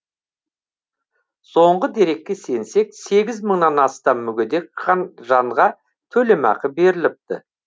соңғы дерекке сенсек сегіз мыңнан астам мүгедек жанға төлемақы беріліпті